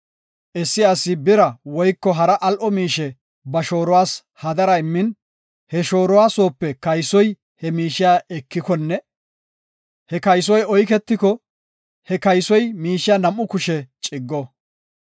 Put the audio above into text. “Issi asi bira woyko hara al7o miishe ba shooruwas hadara immin, he shooruwa soope kaysoy he miishiya ekikonne he kaysoy oyketiko, he kaysoy miishiya nam7u kushe ciggo.